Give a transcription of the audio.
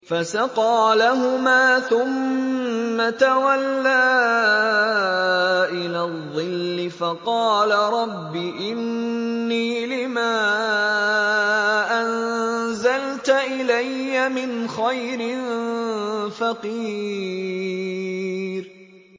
فَسَقَىٰ لَهُمَا ثُمَّ تَوَلَّىٰ إِلَى الظِّلِّ فَقَالَ رَبِّ إِنِّي لِمَا أَنزَلْتَ إِلَيَّ مِنْ خَيْرٍ فَقِيرٌ